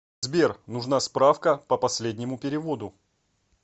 сбер нужна справка по последнему переводу